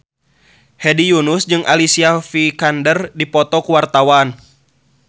Hedi Yunus jeung Alicia Vikander keur dipoto ku wartawan